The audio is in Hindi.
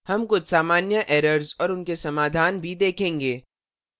हम कुछ सामान्य errors और उनके समाधान भी देखेंगे